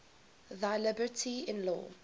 thy liberty in law